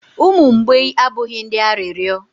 umu mgbei abụghị ndị arịrịọ